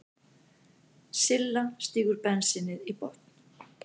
Silla stígur bensínið í botn.